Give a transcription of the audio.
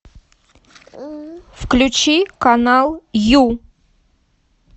включи канал ю